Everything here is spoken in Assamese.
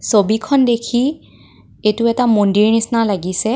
ছবিখন দেখি এইটো এটা মন্দিৰ নিচিনা লাগিছে.